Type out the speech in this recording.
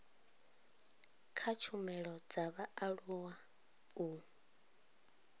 kha tshumelo dza vhaaluwa u